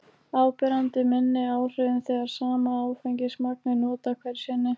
áberandi minni áhrifum þegar sama áfengismagn er notað hverju sinni